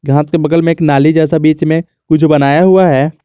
हां इसके बगल में एक नाली जैसा बीच में कुछ बनाया हुआ है।